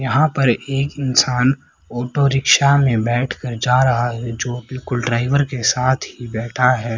यहां पर एक इंसान ऑटो रिक्शा में बैठ कर जा रहा है जो बिल्कुल ड्राइवर के साथ ही बैठा है।